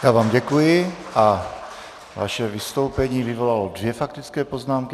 Já vám děkuji a vaše vystoupení vyvolalo dvě faktické poznámky.